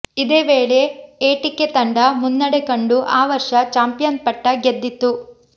ಇದೇ ವೇಳೆ ಎಟಿಕೆ ತಂಡ ಮುನ್ನಡೆ ಕಂಡು ಆ ವರ್ಷ ಚಾಂಪಿಯನ್ ಪಟ್ಟ ಗೆದ್ದಿತು